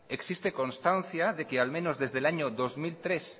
existe constancia de que al menos desde el año dos mil tres